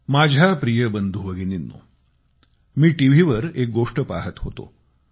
माझ्या प्रिय बंधू भगिनींनो मी टीव्हीवर एक गोष्ट पहात होतो